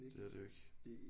Det er det jo ikke